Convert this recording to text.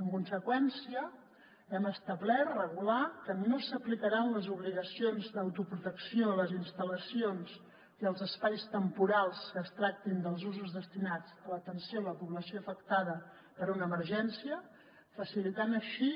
en conseqüència hem establert regular que no s’aplicaran les obligacions d’autoprotecció a les instal·lacions i als espais temporals que es tractin dels usos destinats a l’atenció a la població afectada per una emergència facilitant així